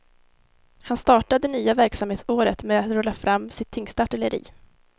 Han startar det nya verksamhetsåret med att rulla fram sitt tyngsta artilleri.